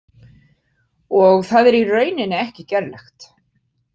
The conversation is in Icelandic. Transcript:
Og það er í rauninni ekki gerlegt.